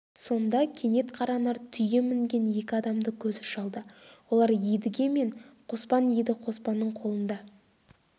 сонда кенет қаранар түйе мінген екі адамды көзі шалды олар едіге мен қоспан еді қоспанның қолында